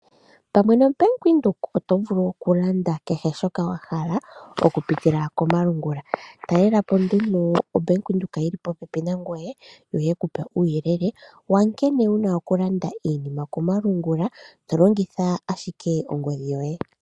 Pamwe no Bank Windhoek oto vulu oku landa kehe shoka wa hala oku pitila komalungula. Talelapo nduno o Bank Windhoek yili popepi nangwee yo yekupe uuyelele wa nkene wuna oku landa iinima komalungula to longitha ashike ongodhi yoye.